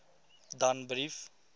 danbrief